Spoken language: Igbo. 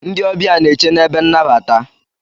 Ndị ọbịa n'eche n'ebe nnabata.